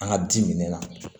An ka di minɛna